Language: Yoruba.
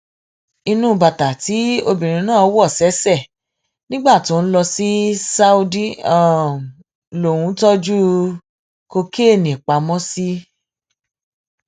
inú bàtà tí obìnrin náà wọ ṣẹṣẹ nígbà tó ń lọ sí saudi lòun tọjú kokéènì pamọ sí